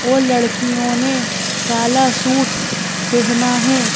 और लड़कियों ने काला सूट पहना है।